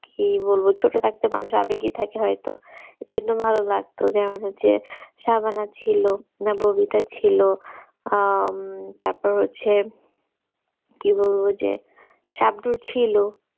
কি বলবো ছোট থাকতে মানুষ আবেগে থাকে হয়তো ওই জন্য ভালো লাগতো আমাদের যে সাবান ছিল না ববিতা ছিল আহ তারপর হচ্ছে কি বলবো যে সাবব্দুর ছিল